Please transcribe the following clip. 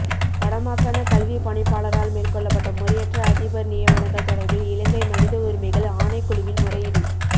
வடமாகாணக் கல்விப் பணிப்பாளரால் மேற்கொள்ளப்பட்ட முறையற்ற அதிபர் நியமனங்கள் தொடர்பில் இலங்கை மனித உரிமைகள் ஆணைக்குழுவில் முறையீடு